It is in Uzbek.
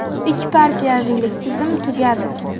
Ikki partiyaviylik tizim tugadi.